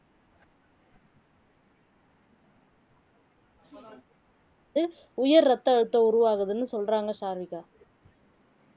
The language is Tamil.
வந்து உயர் ரத்த அழுத்தம் உருவாகுதுன்னு சொல்றாங்க சாருவிகா